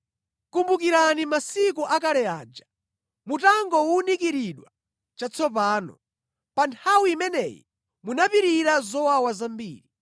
Kumbukirani masiku akale aja mutangowunikiridwa chatsopano, pa nthawi imeneyi munapirira zowawa zambiri.